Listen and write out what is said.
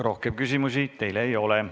Rohkem küsimusi teile ei ole.